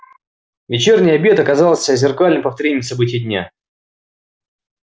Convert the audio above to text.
вечерний обед оказался зеркальным повторением событий дня